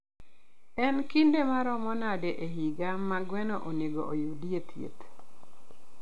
En kinde maromo nade e higa ma gweno onego oyudie thieth?